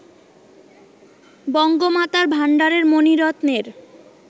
বঙ্গমাতার ভান্ডারের মণিরত্নের